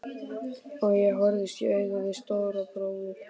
Ég horfðist í augu við Stóra bróður.